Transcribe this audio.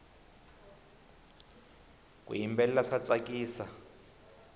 ku yimbelela swa tsakisa